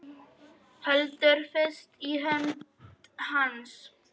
Heldur fast í hönd hans.